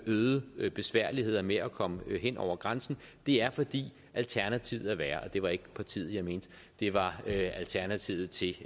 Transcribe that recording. øgede besværligheder med at komme hen over grænsen det er fordi alternativet er værre og det var ikke partiet jeg mente det var alternativet til